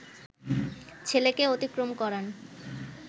ছেলেকে অতিক্রম করান